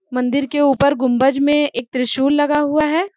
मंदिर के ऊपर गुंबज में एक त्रिशूल लगा हुआ है।